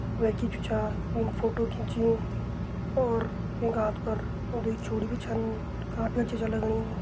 वै की जू चा वैन फोटो खींची और वैका हाथ पर दुई चूड़ी भी छन काफी अच्छा छा लगणी।